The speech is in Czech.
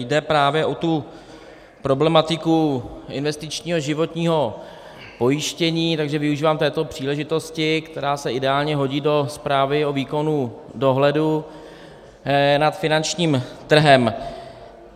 Jde právě o tu problematiku investičního životního pojištění, takže využívám této příležitosti, která se ideálně hodí do zprávy o výkonu dohledu nad finančním trhem.